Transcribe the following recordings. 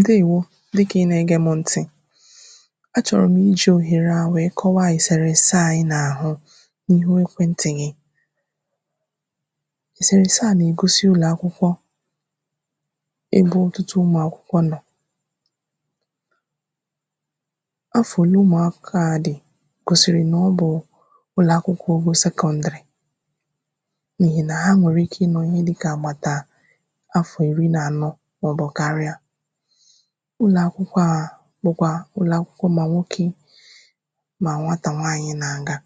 Ǹdeèwo dịkà ị nà-egē mụ̄ ntị̀ a chọ̀rọ̀ mụ̀ ijì òhere à wèe kọwaa èsèrèèse à ị nà-àhụ n’ihu ekwentị̀ ghị èsèrèèse à nà-ègosi ụlọakwụkwọ ebe ọtụtụ ụmụ̀akwụkwọ nọ̀ afọ̀ òle ụmụ̀akwụkwọ à dị̀ gòsị̀rị̀ nà ọ bụ̀ ụlọ̀akwụkwọ ogo sekọndị̀rị̀ n’ìhì nà ha nwèrèikē ịnọ̀ ihe dịkà àgbàtà afọ̀ ìri nà ànọ mà ọ̀ bụ̀ karị̀a ụlọ̀akwụkwọ à bụ̀kwà ụlọ̀akwụkwọ mà nwokē mà nwatà nwaànyị nà-àga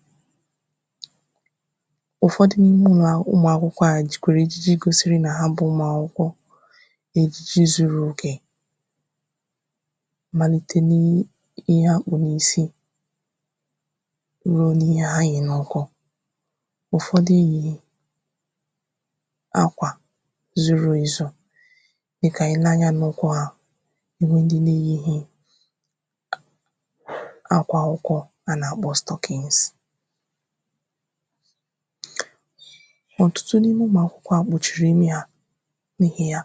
ụ̀fọdị n’ime ụmụ̀akwụkwọ à jìkwàrà ejiji gosiri nà ha bụ̄ ụmụ̀akwụkwọ ejiji zuru òkè malite ni i ihe ha kpù n’isi ruo n’ihe ha yì n’ụkwụ ùfọdị yì akwà zuru èzu dịkà I lee anyā n’ụkwụ hā akwà ụkwụ̄ anà-àkpọ stockings ọ̀tụtụ n’ime ụmụ̀akwụkwọ à kpùchìrì imi hā n’ihì ya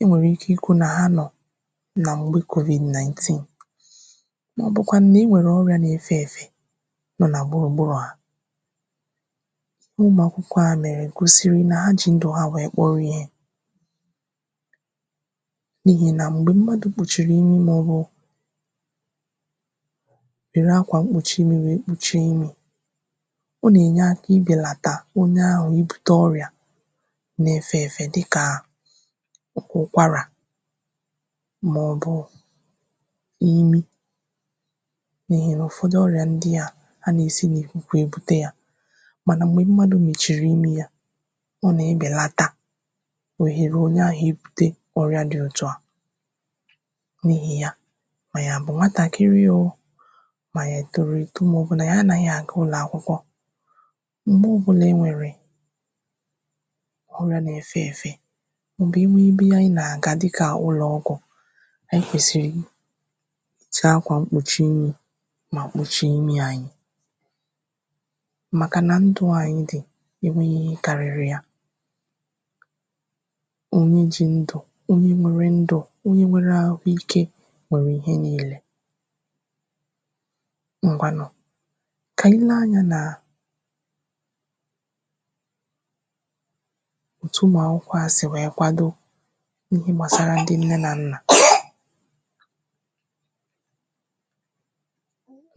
I nwèrè ike ikwū nà ha nọ̀ nà m̀gbe covid-19 màọ̀bụ̀ kwànụ̀ nà-ewèrè ọrịā na-efē èfè nọ nà gbùrùgburu à ụmụ̀akwụkwọ à nà gòsìrì nà ha jì ndụ̀ ha wèe kpọrọ ihē nihì nà m̀gbè mmadụ̀ kpùchìrì imi mà ọ̀ bụ̀ wère akwà kpùchie irū wèe kpùchie imī ọ nà-ènye aka ibèlàtà onye ahụ̀ ibute ọrịà na-efe efe dịkà oke ụkwarà mà ọ̀ bụ̀ imi nihì nà ụ̀fọdụ ọrị̀à ndị à anà-èsi nà ìkùkù èbute yā mànà m̀gbè mmadụ̀ mèchìrì imi yā ọ nà-ebèlata òhèrè onye ahụ̀ iburte ọrị̀à dị otu à nihì ya mà ànyị̀ à bụ̀ nwatàkịrị ō mà àyị̀ è tòrò èto mà ọ̀ bụ̀ nà àyị anahị àga ụlọ̀akwụkwọ m̀gbe ọ bụlà I nwèrè ọrịā na-efe èfe m̀bè I nwee ebe a ị nà-àga dịkà ụlọọgwụ̀ àyị kwèsịrị chọọ akwà mkpùchi imī mà kpùchie imī anyị màkà nà ndụ̄ à anyị dị̀ è nweghi ihe karịrị ya onye ji ndụ̀ onye nwere ndụ̀ onye nwere ahụikē nwèrè ihe niilē ngwanụ kà ànyị lee anyā nà òtù ụmụakwụkwọ à sì wèe kwado n’ihe gbàsara ndị nne nà nnà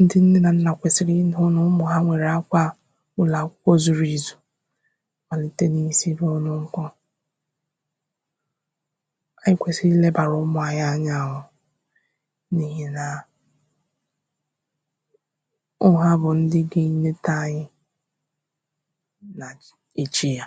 ndị nne nà nnà kwèsị̀rị̀ ịhụ̄ nà ụmụ̀ ha nwèrè akwā ụlọ̀akwụkwọ zuru àzù màlite n’isi ruo n’ụkwụ ayị kwèsị̀rị̀ ilēbàrà ụmụ̄ ayị anya ō nihì nà ọ bụ̀ ha bụ̀ ndị ga-enete ayị nàch echi yā